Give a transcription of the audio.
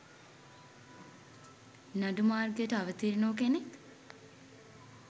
නඩු මාර්ගයට අවතීර්ණ වූ කෙනෙක්?